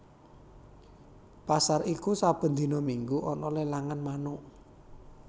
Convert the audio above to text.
Pasar iku saben dina minggu ana lelangan manuk